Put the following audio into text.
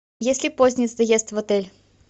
есть ли поздний заезд в отель